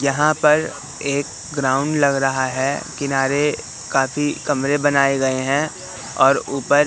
यहां पर एक ग्राउंड लग रहा है किनारे काफी कमरे बनाए गए हैं और ऊपर--